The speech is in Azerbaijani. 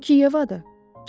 Bu ki Yevadır!